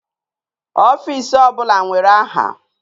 Ọfisi ọbụla nwere aha.